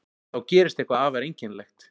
Þá gerist eitthvað afar einkennilegt.